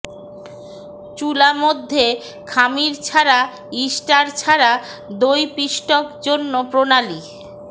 চুলা মধ্যে খামির ছাড়া ইস্টার ছাড়া দই পিষ্টক জন্য প্রণালী